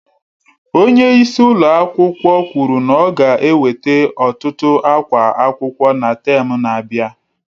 Onye isi ụlọ akwụkwọ kwuru na ọ ga-eweta ọtụtụ akwa akwụkwọ na tem na-abịa